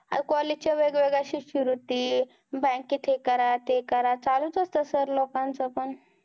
आणि college च्या वेगवेगळ्या शिष्यवृत्ती, bank त हे करा ते करा, चालत असतं sir लोकांचं पण.